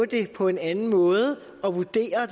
det på en anden måde og vurdere